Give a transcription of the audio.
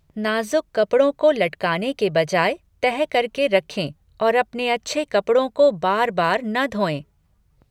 नाजुक कपड़ों को लटकाने के बजाय तह करके रखें और अपने अच्छे कपड़ों को बार बार न धोएँ।